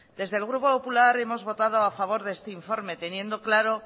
desde el grupo popular hemos votado a favor de este informe teniendo claro